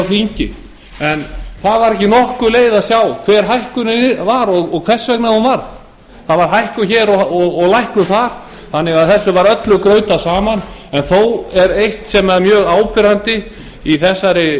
þingi en það var ekki nokkur leið að sjá hver hækkunin var og hvers vegna hún varð það var hækkun hér og lækkun þar þannig að þessu var öllu grautað saman en þó er eitt sem er mjög áberandi í þessari